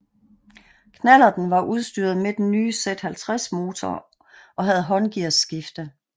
Knallerten var udstyret med den nye Z50 motor og havde håndgears skifte